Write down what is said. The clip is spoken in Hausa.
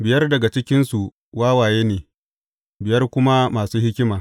Biyar daga cikinsu wawaye ne, biyar kuma masu hikima.